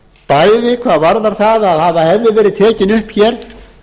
bæði hvað varðar það að hefði verið tekin upp hér